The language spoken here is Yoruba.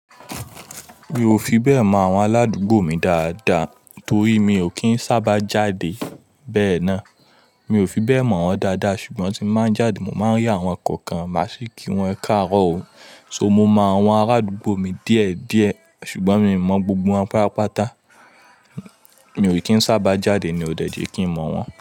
Mi ò fi bẹ́ẹ̀ mọ àwọn aládùúgbò mi dáadáa torí mi ò kí ń sábà jáde bẹ́ẹ̀ náà. Mi ò fi bẹ́ẹ̀ mọ̀ wọ́n dáadáa ṣùgbọ́n tí n bá ń jáde mo máa ń rí àwọn kookan máa sì kí wọn ẹ káàárọ̀ o. So mo mọ àwọn arádúgbò mi díẹ̀ díẹ̀ ṣùgbọ́n mi n mọ̀ gbogbo wọn pápàpáta. Mi ò kí ń sábà jáde ni ó dẹ́ je kí ń mọ̀ wọ́n.